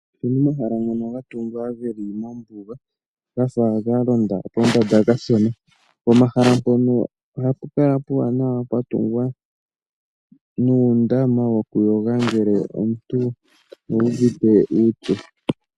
Opuna omahala ngono ga tungwa geli mombuga gafa galonda pombanda kashona. Pomahala ngano ohapu kala puuwanawa pwatungwa nuundama wokuyoga ngele omuntu uuvite uupyu.